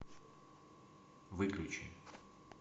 выключи